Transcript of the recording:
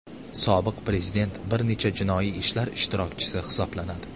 Sobiq prezident bir necha jinoiy ishlar ishtirokchisi hisoblanadi.